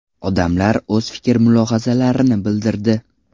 Odamlar o‘z fikr-mulohazalarini bildirdi.